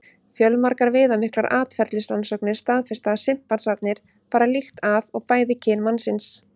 Fjölmargar viðamiklar atferlisrannsóknir staðfesta að simpansarnir fara líkt að og bæði kyn mannsins.